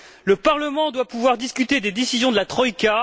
Le Parlement doit pouvoir discuter des décisions de la troïka.